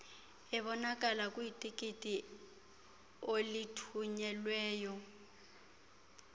obonakala kwitikiti olithunyelweyo